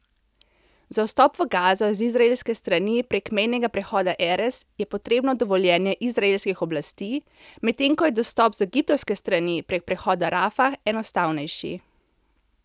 Za vstop v Gazo z izraelske strani prek mejnega prehoda Erez je potrebno dovoljenje izraelskih oblasti, medtem ko je dostop z egiptovske strani prek prehoda Rafah enostavnejši.